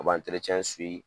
U bi